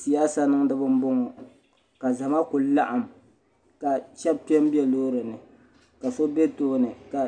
Siyaasa niŋdiba m boŋɔ ka zama kuli laɣim ka sheba kpe m be loorini ka so be tooni ka